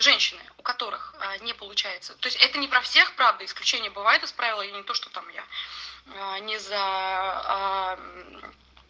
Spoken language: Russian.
женщины у которых аа не получается то есть это не про всех правда исключения бывают из правила я не то что там я не за аа